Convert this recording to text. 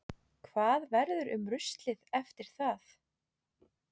Hvað verður um ruslið eftir það?